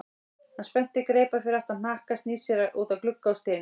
Hann spennir greipar fyrir aftan hnakka, snýr sér út að glugga og stynur.